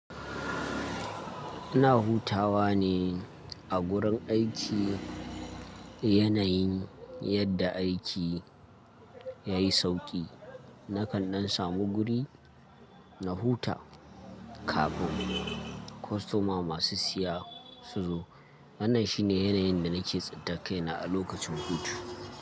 Ina hutawa ne a gurin aiki. Yanayin yadda aiki ya yi sauƙi. Nakan ɗan samu guri na huta, kafin kostoma masu siya su zo. Wannan shi ne yanayin da nake tsintar kaina a lokacin hutu.